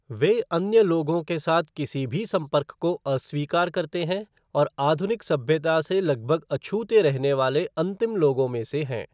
वे अन्य लोगों के साथ किसी भी संपर्क को अस्वीकार करते हैं और आधुनिक सभ्यता से लगभग अछूते रहने वाले अंतिम लोगों में से हैं।